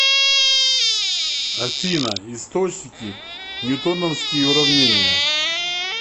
афина источники ньютоновские уравнения